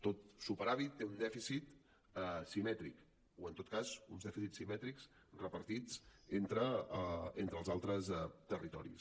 tot superàvit té un dèficit simètric o en tot cas uns dèficits simètrics repartits entre els altres territoris